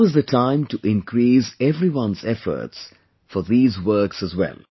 Now is the time to increase everyone's efforts for these works as well